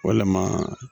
Walima